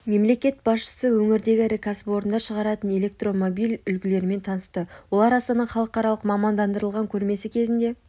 мемлекет басшысы өңірдегі ірі кәсіпорындар шығаратын электромобиль үлгілерімен танысты олар астана халықаралық мамандандырылған көрмесі кезінде